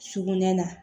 Sugunɛ na